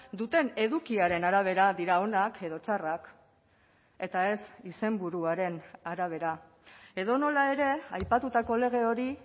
duten edukiaren arabera dira onak edo txarrak eta ez izenburuaren arabera edonola ere aipatutako lege hori